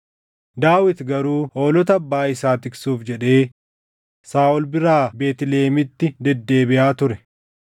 Daawit garuu hoolota abbaa isaa tiksuuf jedhee Saaʼol biraa Beetlihemitti deddeebiʼaa ture.